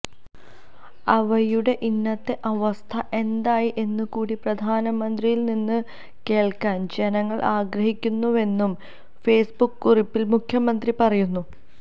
അവയുടെ ഇന്നത്തെ അവസ്ഥ എന്തായി എന്ന് കൂടി പ്രധാനമന്ത്രിയില് നിന്ന് കേള്ക്കാന് ജനങ്ങള് ആഗ്രഹിക്കുന്നുവെന്നും ഫേസ്ബുക്ക് കുറിപ്പില് മുഖ്യമന്ത്രി പറയുന്നു